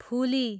फुली